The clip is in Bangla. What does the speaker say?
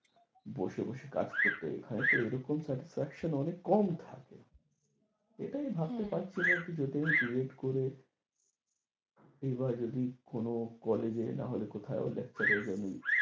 বসে বসে কাজ করতে হয় তো এখানে তো এরকম satifaxan অনেক কম থাকে এটা আমি ভাবতে পারছিনা, যেটা আমি বি এড করে এবার যদি কোনো কলেজে না হলে কোথায় লেকচারে